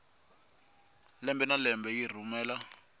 lembe na lembe yi rhumela